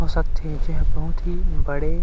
हो सकथे जेहा बहुत ही बड़े--